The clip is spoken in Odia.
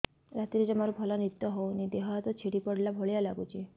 ରାତିରେ ଜମାରୁ ଭଲ ନିଦ ହଉନି ଦେହ ହାତ ଛିଡି ପଡିଲା ଭଳିଆ ଲାଗୁଚି